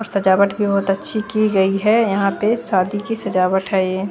सजावट भी बहोत अच्छी की गयी है यहाँ पे शादी की सजावट है ये--